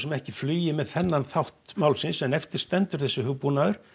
ekki flugi með þennan þátt málsins en eftir stendur þessi hugbúnaður